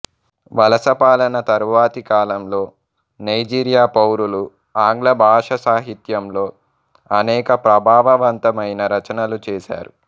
వలసపాలన తరువాతి కాలంలో నైజీరియా పౌరులు ఆంగ్ల భాషాసాహిత్యంలో అనేక ప్రభావవంతమైన రచనలు చేసారు